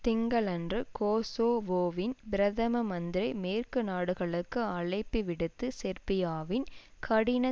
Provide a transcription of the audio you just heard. திங்களன்று கோசோவோவின் பிரதம மந்திரி மேற்கு நாடுகளுக்கு அழைப்பு விடுத்து செர்பியாவின் கடின